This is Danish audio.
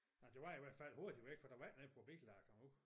Nej det var i hvert fald hurtigt væk for der var ikke noget på bilen da jeg kom du